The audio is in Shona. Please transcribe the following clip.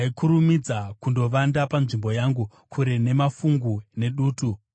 ndaikurumidza kundovanda panzvimbo yangu, kure nemafungu nedutu.”